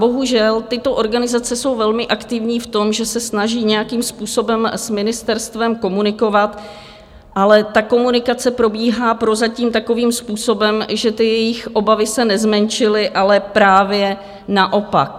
Bohužel, tyto organizace jsou velmi aktivní v tom, že se snaží nějakým způsobem s ministerstvem komunikovat, ale ta komunikace probíhá prozatím takovým způsobem, že ty jejich obavy se nezmenšily, ale právě naopak.